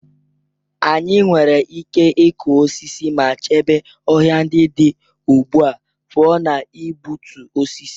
Anyị nwere ike ịkụ osisi ma chebe ọhịa ndị dị ugbu a pụọ ​​na igbutu osisi.